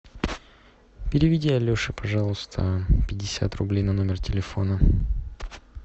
переведи алеши пожалуйста пятьдесят рублей на номер телефона